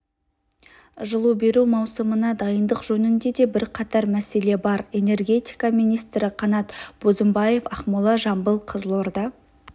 жылу беру маусымына дайындық жөнінде де бірқатар мәселе бар энергетика министрі қанат бозымбаев ақмола жамбыл қызылорда